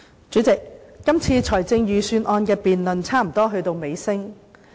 主席，這次財政預算案的辯論差不多到尾聲。